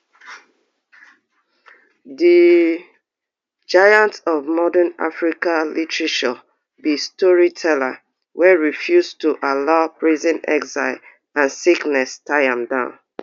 di giant of modern african literature be storyteller wey refuse to allow prison exile and sickness tie am down